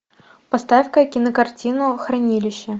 поставь ка кинокартину хранилище